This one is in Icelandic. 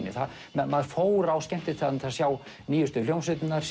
maður fór á skemmtistaðina til að sjá nýjustu hljómsveitirnar